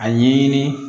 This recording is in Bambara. A ɲɛɲini